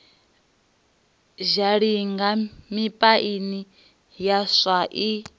zhalinga mipaini ya swa i